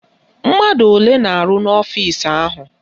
Mmadụ olee na-arụ ọrụ n'ọfisi ahụ?